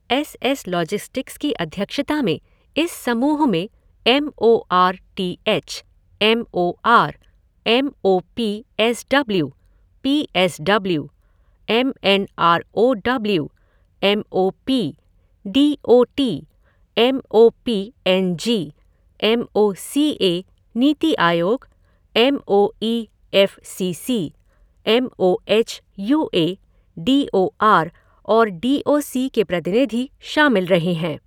S S logistics की अध्यक्षता में इस समूह में M O R T H, M O R, M O P S W, P S W, M N R O W, M O P, D O T, M O P N G, M O C A, NITI Aayog, M O E F C C, M O H U A, D O R और D O C के प्रतिनिधि शामिल रहे हैं।